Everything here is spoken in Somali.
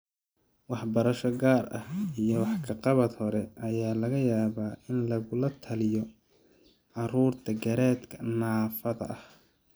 Waxbarasho gaar ah iyo wax ka qabad hore ayaa laga yaabaa in lagula taliyo carruurta garaadka naafada ah.